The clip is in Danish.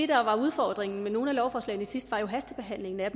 var udfordringen med nogle af lovforslagene sidst jo var hastebehandlingen af